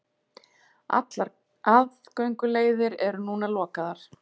Allar aðgönguleiðir eru núna lokaðar